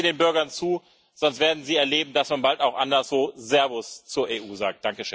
Hören Sie den Bürgern zu, sonst werden Sie erleben, dass man bald auch anderswo Servus zur EU sagt.